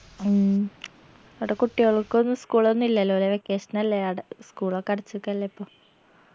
ഉം അവടെ കുട്ടികൾക്കൊന്നു school ന്നു ഇല്ലല്ലൊ ലേ vacation അല്ലേ ആട school ഒക്കെ അടച്ച്ക്കല്ലേ ഇപ്പൊ